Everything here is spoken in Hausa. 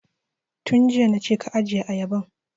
Tun jiya na ce ka ajiye ayaban!